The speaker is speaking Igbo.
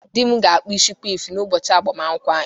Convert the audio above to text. Di m ga-akpụ isi kwif n’ụbọchị agbamakwụkwọ anyị